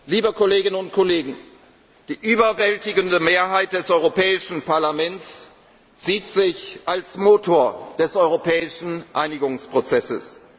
sichern. Liebe Kolleginnen und Kollegen, die überwältigende Mehrheit des Europäischen Parlaments sieht sich als Motor des europäischen Einigungsprozesses.